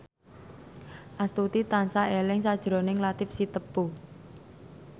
Astuti tansah eling sakjroning Latief Sitepu